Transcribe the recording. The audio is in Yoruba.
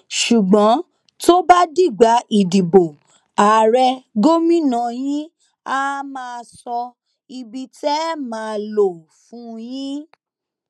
ṣùgbọn tó bá dìgbà ìdìbò ààrẹ gómìnà yín àá máa sọ ibi tẹ ẹ máa lò fún yín